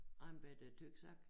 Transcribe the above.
Og en bette tyksak